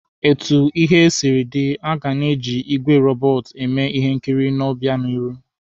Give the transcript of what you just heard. Otu ihe siri dịrị, aga na-eji igwe robọọtụ eme ihe nkiri n'obịanihu.